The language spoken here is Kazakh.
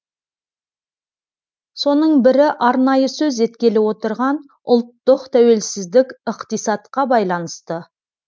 соның бірі арнайы сөз еткелі отырған ұлттық тәуелсіз ықтисатқа байланысты